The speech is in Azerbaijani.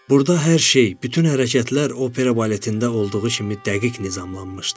Burda hər şey, bütün hərəkətlər opera baletində olduğu kimi dəqiq nizamlanmışdı.